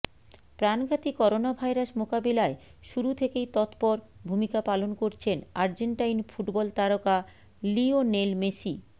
প্রাণঘাতী করোনাভাইরাস মোকাবিলায় শুরু থেকেই তৎপর ভূমিকা পালন করছেন আর্জেন্টাইন ফুটবল তারকা লিওনেল মেসি